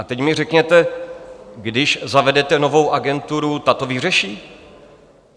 A teď mi řekněte, když zavedete novou agenturu, ta to vyřeší?